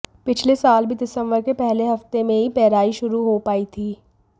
पिछले साल भी दिसंबर के पहले हफ्ते में ही पेराई शुरू हो पाई थी